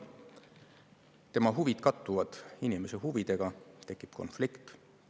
Tema huvid kattuvad inimese huvidega, tekib konflikt.